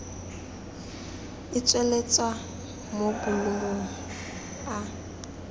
e tsweletswa mo bolumong a